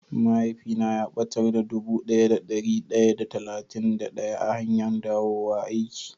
Mahaifi na ya batar da dubu daya da dari daya da talatin da daya a hanyan dawo aiki.